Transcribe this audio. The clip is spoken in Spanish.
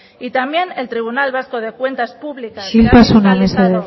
y también el tribunal vasco de cuentas públicas isiltasuna mesedez que ha